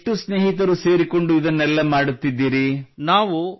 ನೀವು ಎಷ್ಟು ಸ್ನೇಹಿತರು ಸೇರಿಕೊಂಡು ಇದನ್ನೆಲ್ಲ ಮಾಡುತ್ತಿದ್ದೀರಿ